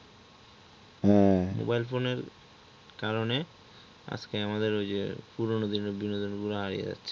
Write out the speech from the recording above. mobile phone এর কারনে আজকে আমাদের ওই যে পুরনো দিনের বিনোদন গুলো হারিয়ে যাচ্ছে।